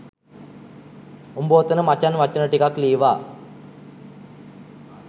උබ ඔතන මචන් වචන ටිකක් ලීවා